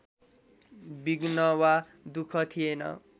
विघ्न वा दुःख थिएन